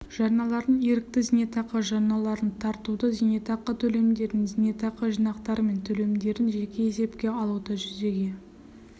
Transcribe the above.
жарналарын ерікті зейнетақы жарналарын тартуды зейнетақы төлемдерін зейнетақы жинақтары мен төлемдерін жеке есепке алуды жүзеге